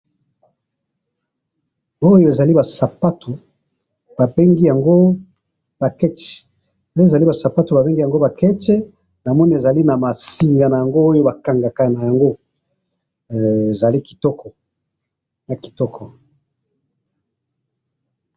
oyo ezali ba sapato ba bengi yango ba ketch donc ezali ba sapato ba bengi yango ba ketch namoni ezali naba singa nango bakangaka nango he ezali kitoko ezali kitoko.